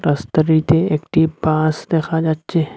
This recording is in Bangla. রাস্তাটিতে একটি বাস দেখা যাচ্ছে।